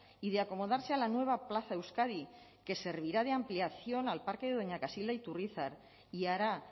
y de acomodarse a la nueva plaza euskadi que servirá de ampliación al parque de doña casilda de iturrizar y hará